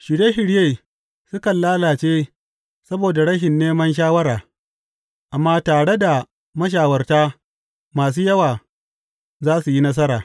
Shirye shirye sukan lalace saboda rashin neman shawara, amma tare da mashawarta masu yawa za su yi nasara.